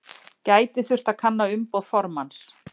Gæti þurft að kanna umboð formanns